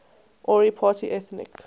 ori party ethnic